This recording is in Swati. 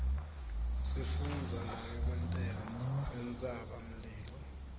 sifundza nangekwenteka kwentsaba mlilo